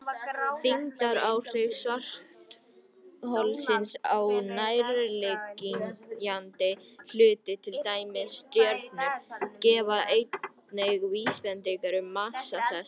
Þyngdaráhrif svartholsins á nærliggjandi hluti, til dæmis stjörnur, gefa einnig vísbendingar um massa þess.